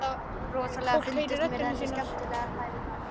Rosalega fundust mér þetta skemmtilegar pælingar.